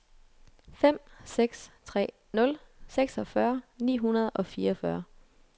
fem seks tre nul seksogfyrre ni hundrede og fireogfyrre